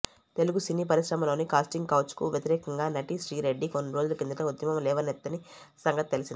తెలుగు సినీ పరిశ్రమలోని కాస్టింగ్ కౌచ్కు వ్యతిరేకంగా నటి శ్రీరెడ్డి కొన్ని రోజుల కిందట ఉద్యమం లేవనెత్తిన సంగతి తెలిసిందే